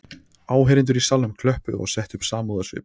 Áheyrendur í salnum klöppuðu og settu upp samúðarsvip